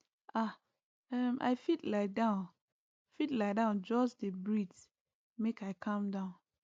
ah um i fit lie down fit lie down just dey breathe make i calm down